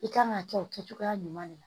I kan ka kɛ o kɛ cogoya ɲuman de la